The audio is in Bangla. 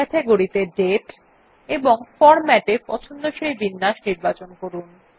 ক্যাটেগরি ত়ে দাতে এবং ফরম্যাট এ পছন্দসই বিন্যাস নির্বাচন করুন